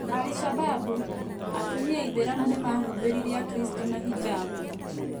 Al-shabaab:Atumia aithĩramu nĩmahumbĩrire Akristo na Hijab .